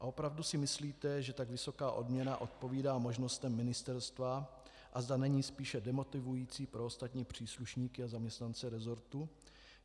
A opravdu si myslíte, že tak vysoká odměna odpovídá možnostem ministerstva a zda není spíše demotivující pro ostatní příslušníky a zaměstnance resortu?